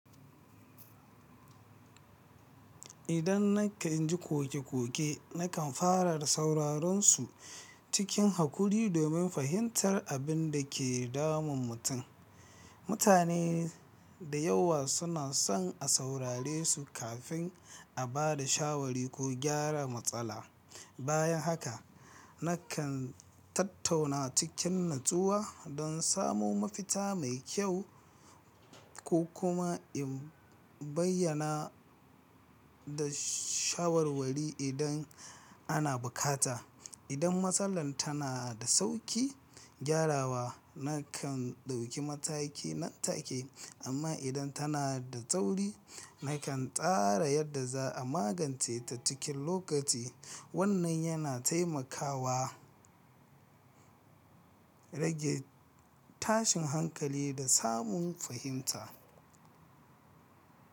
Idan nakan ji koke-koke, nakan fara da sauraron su cikin hakuri domin fahimtar abin da ke damun mutum. Mutane da yawa suna son a saurare su kafin a ba da shawara ko gyara matsala. Bayan haka, nakan tattauna a cikin natsuwa don samo mafita mai kyau ko kuma in bayyana da shawarwari idan ana bukata. Idan matsalar tana da sauƙin gyarawa, nakan ɗauki mataki nan take, amma idan tana da tsauri, nakan tsara yadda za a magance ta cikin lokaci. Wannan yana taimakawa rage tashin hankali da samun fahimta.